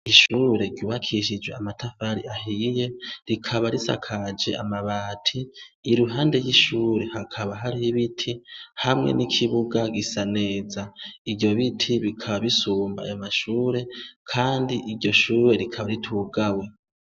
Ishure ryubakishije amatafari ahiye, rikaba risakaje amabati, iruhande y'ishuri hakaba hariho ibiti ,hamwe n'ikibuga gisa neza, ivyo biti bikaba bisumba ayo mashure kandi iryo shure rikaba ritugawe.